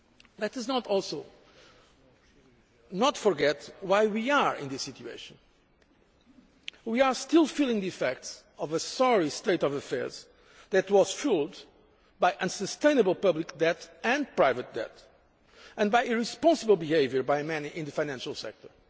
Let us also not forget why we are in this situation we are still feeling the effects of a sorry state of affairs that was fuelled by unsustainable public debt and private debt and by irresponsible behaviour by many in the financial sector.